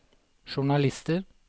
journalister